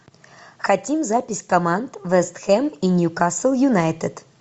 хотим запись команд вест хэм и ньюкасл юнайтед